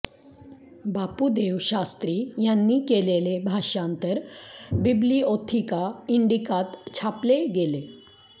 बापूदेव शास्त्री यांनी केलेले भाषांतर बिब्लिओथिका इंडिकांत छापले गेले